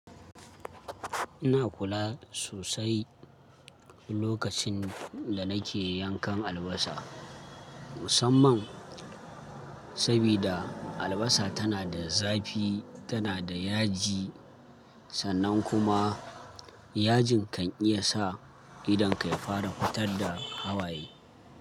Ina kula sosai lokacin da nake yankan albasa, musamman sabida albasa tana da zafi tana da yaji sannan kuma yajin kan iya sa idon ka ya fara fitar da hawaye.